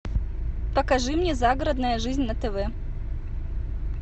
покажи мне загородная жизнь на тв